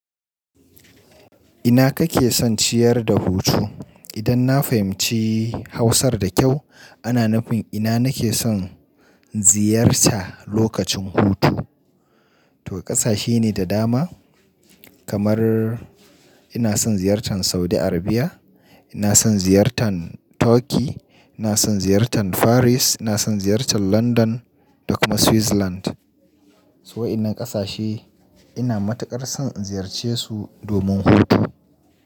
Ina kake son ciyar da hutu? Idan na fahimci Hausar da kyau ana nufin ina nake son ziyarta lokacin hutu. To kasashe ne da dama kamar ina son ziyartan Saudi Arabia, ina son ziyartan Turkey, ina son ziyartan Faris, ina son ziyartan London da kuma Switzerland. Su wa'annan ƙasashe ina matuƙar son in ziyarce su domin hutu.